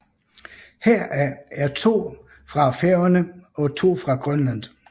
Heraf er to fra Færøerne og to fra Grønland